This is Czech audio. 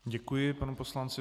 Děkuji panu poslanci.